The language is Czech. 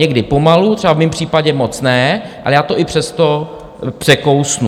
Někdy pomalu, třeba v mém případě moc ne, ale já to i přesto překousnu.